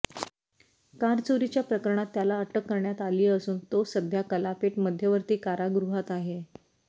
car चोरीच्या प्रकरणात त्याला अटक करण्यात आली असून तो सध्या कलापेट मध्यवर्ती कारागृहात आहे